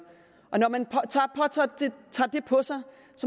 når man tager det på sig